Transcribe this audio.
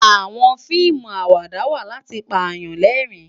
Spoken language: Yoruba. Àwòn fiimú àwádá wá làti pá yán lèrin